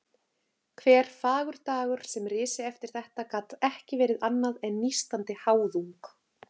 Hver fagur dagur sem risi eftir þetta gat ekki verið annað en nístandi háðung.